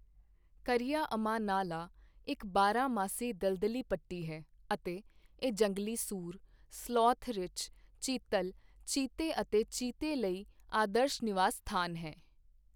ਕਰਈਆ ਅਮਾ ਨਾਲਾ ਇੱਕ ਬਾਰਹਮਾਸੀ ਦਲਦਲੀ ਪੱਟੀ ਹੈ ਅਤੇ ਇਹ ਜੰਗਲੀ ਸੂਰ, ਸਲੋਥ ਰਿੱਛ, ਚੀਤਲ, ਚੀਤੇ ਅਤੇ ਚੀਤੇ ਲਈ ਆਦਰਸ਼ ਨਿਵਾਸ ਸਥਾਨ ਹੈ।